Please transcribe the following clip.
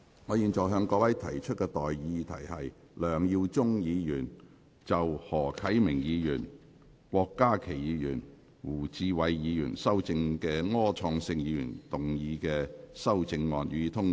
我現在向各位提出的待議議題是：梁耀忠議員就經何啟明議員、郭家麒議員及胡志偉議員修正的柯創盛議員議案動議的修正案，予以通過。